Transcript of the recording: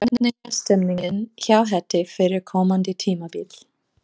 Hvernig er stemningin hjá Hetti fyrir komandi tímabil?